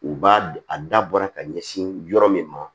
U b'a a da bɔra ka ɲɛsin yɔrɔ min ma